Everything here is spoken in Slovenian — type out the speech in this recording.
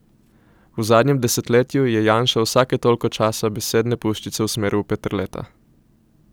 V zadnjem desetletju je Janša vsake toliko časa besedne puščice usmeril v Peterleta.